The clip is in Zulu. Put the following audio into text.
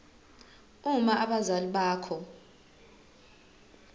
uma abazali bakho